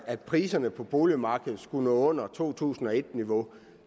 at priserne på boligmarkedet skulle nå under to tusind og et niveau